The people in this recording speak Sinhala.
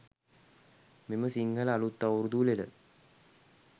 මෙම සිංහල අළුත් අවුරුදු උළෙල